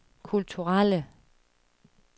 kulturelle